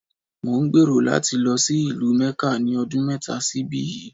Mò ń gbèrò láti lọ sí ìlú Mẹ́kà ní ọdún mẹ́ta sí ibí yìí.